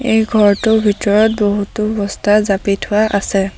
এই ঘৰটোৰ ভিতৰত বহুতো বস্তা জাপি থোৱা আছে।